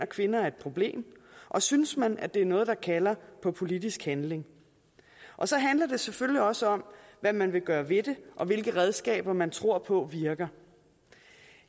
kvinder er et problem og synes man at det er noget der kalder på politisk handling og så handler det selvfølgelig også om hvad man vil gøre ved det og hvilke redskaber man tror på virker